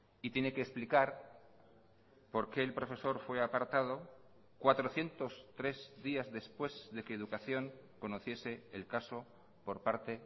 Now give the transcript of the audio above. y tiene que explicar por qué el profesor fue apartado cuatrocientos tres días después de que educación conociese el caso por parte